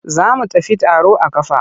Za mu tafi taro a ƙafa.